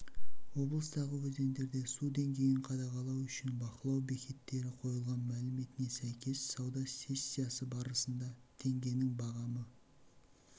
облыстағы өзендерде су деңгейін қадағалау үшін бақылау бекеттері қойылған мәліметіне сәйкес сауда сессиясы барысында теңгенің бағамы